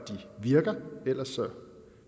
virker ellers